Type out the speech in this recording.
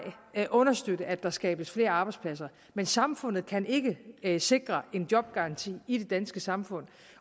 understøtte at der skabes flere arbejdspladser men samfundet kan ikke ikke sikre en jobgaranti i det danske samfund